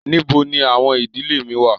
Nibo ni awọn idile mi wa?